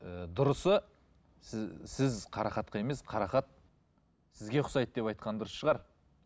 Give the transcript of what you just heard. ы дұрысы сіз сіз қарақатқа емес қарақат сізге ұқсайды деп айтқан дұрыс шығар